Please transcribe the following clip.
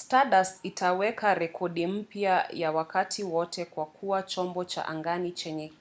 stardust itaweka rekodi mpya ya wakati wote kwa kuwa chombo cha angani chenye